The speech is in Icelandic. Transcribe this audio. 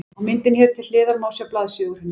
Á myndinni hér til hliðar má sjá blaðsíðu úr henni.